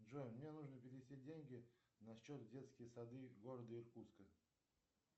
джой мне нужно перевести деньги на счет в детские сады города иркутска